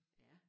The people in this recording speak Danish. Ja